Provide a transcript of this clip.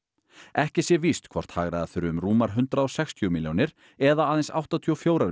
ekki sé víst hvort hagræða þurfi um rúmar hundrað og sextíu milljónir eða aðeins áttatíu og fjórar